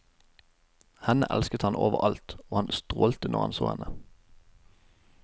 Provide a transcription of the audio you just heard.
Henne elsket han over alt, og han strålte når han så henne.